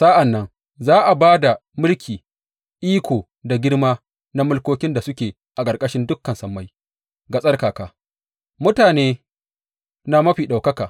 Sa’an nan za a ba da mulki, iko da girma na mulkokin da suke a ƙarƙashin dukan sammai ga tsarkaka, mutane na Mafi Ɗaukaka.